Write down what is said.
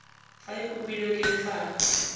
fa e kopilwe ke lefapha